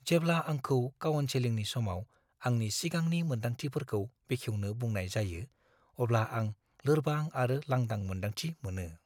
जेब्ला आंखौ काउनसेलिंनि समाव आंनि सिगांनि मोन्दांथिफोरखौ बेखेवनो बुंनाय जायो, अब्ला आं लोरबां आरो लांदां मोन्दांथि मोनो।